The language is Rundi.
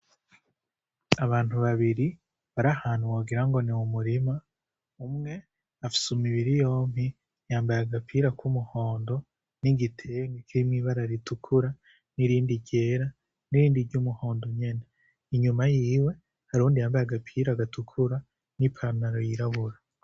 Abantu babiri bari ahantu wogira ni mumurima umwe afise imibiri yompi yambaye agapira ku muhondo n'igitenge kirimwo ibara ritukura n'irindi ryera n'irindi ry'umuhondo nyene inyuma yiwe hari uwundi yambaye agapira gatukura n'ipantaro yirabura.